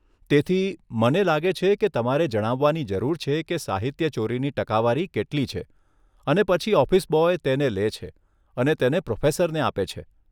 તેથી, મને લાગે છે કે તમારે જણાવવાની જરૂર છે કે સાહિત્યચોરીની ટકાવારી કેટલી છે, અને પછી ઓફિસ બોય તેને લે છે અને તેને પ્રોફેસરને આપે છે.